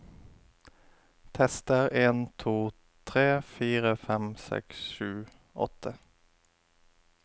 Tester en to tre fire fem seks sju åtte